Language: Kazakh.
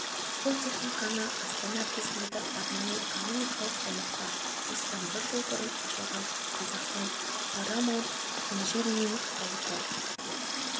бұл техниканы астана іргесіндегі арнайы экономикалық аймақта осыдан бір жыл бұрын ашылған қазақстан парамаунт инжиниринг зауыты